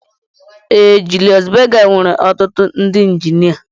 Ee Julius Berger nwere ọtụtụ ndị injinia